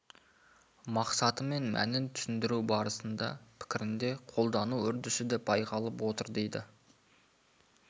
мақсаты мен мәнін түсіндіру барысындағы пікірінде қолдану үрдісі де байқалып отыр дейді